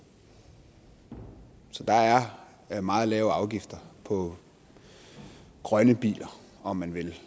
så der er er meget lave afgifter på grønne biler om man vil